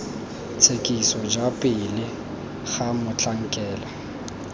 tshekiso ja pele ga motlhankela